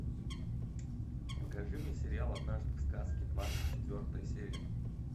покажи мне сериал однажды в сказке двадцать четвертая серия